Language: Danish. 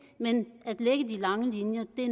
de lange linjer vi